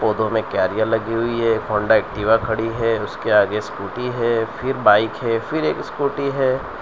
Photo में carrier लगी हुई है होंडा एक्टिवा खड़ी है उसके आगे स्कूटी है फिर बाइक है फिर एक स्कूटी है।